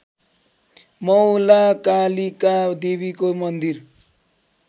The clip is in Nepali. मौलाकालिका देवीको मन्दिर